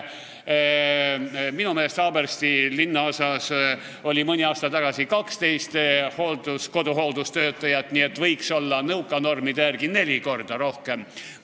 Minu meelest oli Haabersti linnaosas mõni aasta tagasi 12 koduhooldustöötajat, nõuka normide järgi võiks olla neli korda rohkem.